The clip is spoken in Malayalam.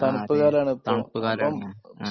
തണുപ്പുകാലമാണ്